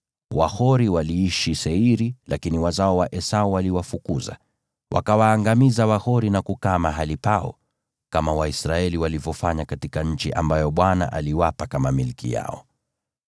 Wahori waliishi Seiri, lakini wazao wa Esau waliwafukuza. Waliwaangamiza Wahori na kukaa mahali pao, kama Waisraeli walivyofanya katika nchi ambayo Bwana aliwapa kama milki yao.)